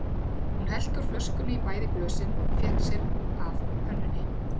Hún hellti úr flöskunni í bæði glösin og fékk sér af pönnunni.